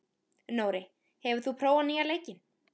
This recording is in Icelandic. Nóri, hefur þú prófað nýja leikinn?